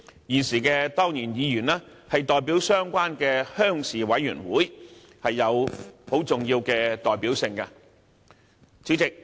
現時的當然議員是代表相關的鄉事委員會，有重要的代表性。